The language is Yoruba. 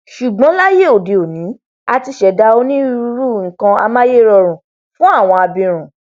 ṣùgbọn láyé lóde òní a ti ṣẹdá onírúurú nkan amáyérọrùn fún àwọn abirùn